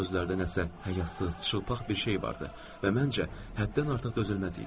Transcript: Bu sözlərdə nəsə həyasız, çılpaq bir şey vardı və məncə, həddən artıq dözülməz idi.